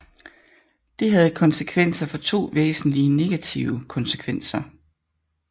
Det havde to væsentlige negative konsekvenser